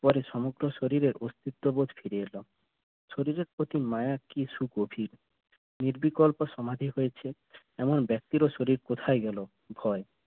পরে সমগ্র শরীরে ছড়িয়ে গেল শরীরে প্রতি মায়া কি সু গভীর নির্বিকল্প সমাধি হয়েছে এমন ব্যক্তিরও শরীর কোথায় গেল হয়